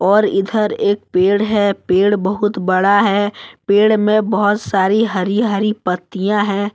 और इधर एक पेड़ है पेड़ बहुत बड़ा है पेड़ में बहुत सारी हरी हरी पत्तियां हैं।